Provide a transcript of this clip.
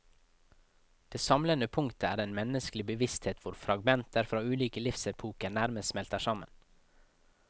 Det samlende punktet er den menneskelige bevissthet hvor fragmenter fra ulike livsepoker nærmest smelter sammen.